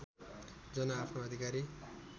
जन आफ्नो अधिकारी